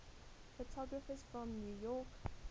photographers from new york